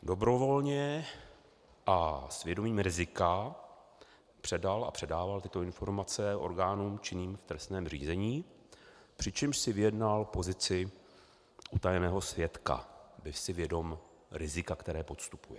Dobrovolně a s vědomím rizika předal a předával tyto informace orgánům činným v trestním řízení, přičemž si vyjednal pozici utajeného svědka, byl si vědom rizika, které podstupuje.